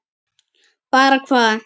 Bara hvað?